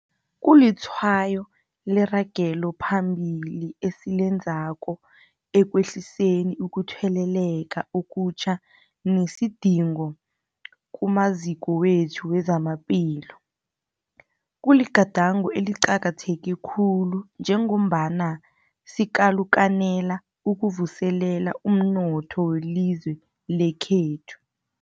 Kulitshwayo leragelo phambili esilenzako ekwehliseni ukutheleleka okutjha nesidingo kumaziko wethu wezamaphilo. Kuligadango eliqakatheke khulu njengombana sikalukanela ukuvuselela umnotho welizwe lekhethu.